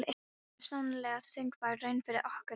Þetta var sannarlega þungbær raun fyrir okkur hjónin.